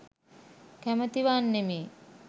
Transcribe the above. කැමැති වන්නෙමි.